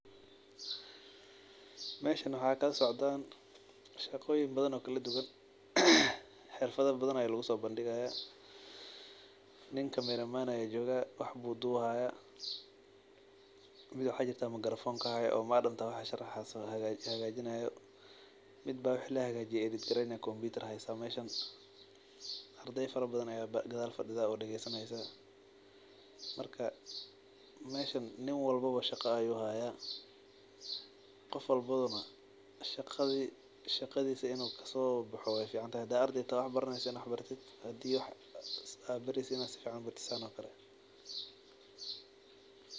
Meshan waxaa kasocda shaqoyin badan oo kala duwan xirfada badan aya laguso bandigaya nin camera man aya joga wax aya dubi haya wi maxaa jira makarafonka hayo oo madamta wax sharxaso hagajinayo computer ayey haysa so meshan ardey badan aya gadhal fadidha oo wax dagesani hasa marka meshan nin walbawo shaqa ayu haya qof walbana in u shaqadisa kasobaxo wey fican tahay hada ardey toho aa wax baraneyso ama aa wax baratid in aa sifican wax u bartid sithan oo kale.